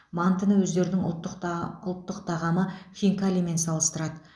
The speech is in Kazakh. мантыны өздерінің ұлттық тағамы хинкалимен салыстырады